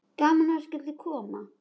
Gaman að þú skyldir koma.